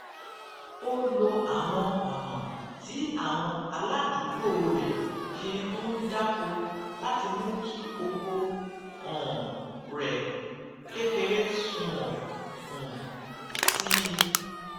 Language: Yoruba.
ó lo àwọn ònà tí àwọn aládùúgbò rè fi ń dáko láti mú kí oko um rè kékeré sunwòn um sí i